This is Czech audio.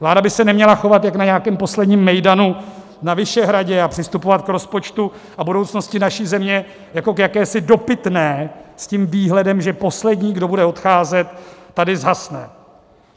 Vláda by se neměla chovat jako na nějakém posledním mejdanu na Vyšehradě a přistupovat k rozpočtu a budoucnosti naší země jako k jakési dopitné, s tím výhledem, že poslední, kdo bude odcházet, tady zhasne.